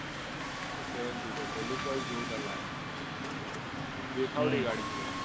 seven sitter છે lookwise જોરદાર લાગે દેખાવડી ગાડી છે